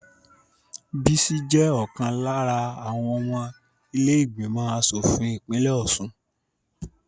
Bísí jẹ́ ọ̀kan lára àwọn ọmọ ilé ìgbìmọ̀ asòfin ìpínlẹ̀ Ọ̀ṣun